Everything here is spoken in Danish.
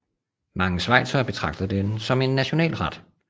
Mange schweizere betragter den som en nationalret